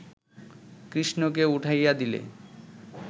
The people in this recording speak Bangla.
কৃষ্ণকে উঠাইয়া দিলে